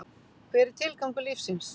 Hver er tilgangur lífsins?